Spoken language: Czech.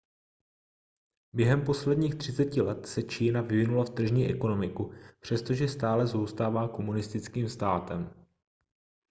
během posledních třiceti let se čína vyvinula v tržní ekonomiku přestože stále zůstává komunistickým státem